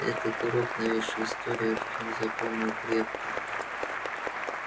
этот урок новейшей истории артём запомнил крепко